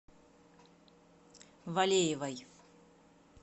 валеевой